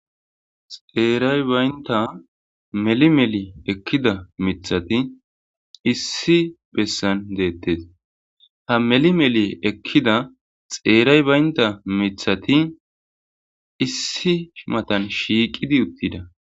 xeeray baynta meli meli ekkida mithati issi bessan deettes ha meli meli ekkida xeeray baynta mithati issi matan shiiqidi uttida